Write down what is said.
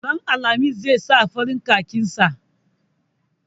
Ranar alhamis zai saka farar kakin sa.